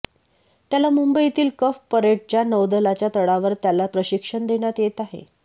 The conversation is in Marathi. त्याला मुंबईतील कफ परेडच्या नौदलाच्या तळावर त्याला प्रशिक्षण देण्यात येत आहे